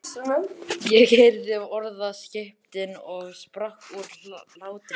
Ég heyrði orðaskiptin og sprakk úr hlátri.